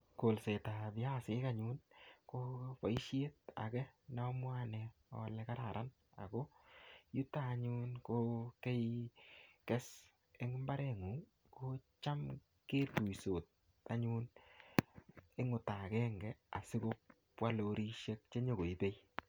Kolsetab viasik anyun, ko boisiet age ne amwae ane ale kararan, Ako yutok anyun, ko keikes eng mbaret ng'ung, kocham ketuisot anyun eng ota agenge, asikobwa lorisiek che nyikoibe.